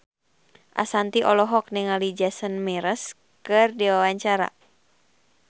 Ashanti olohok ningali Jason Mraz keur diwawancara